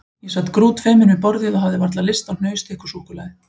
Ég sat grútfeiminn við borðið og hafði varla lyst á hnausþykku súkkulaði.